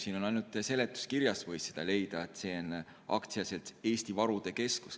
Siin ainult seletuskirjast võis seda leida, et see on AS Eesti Varude Keskus.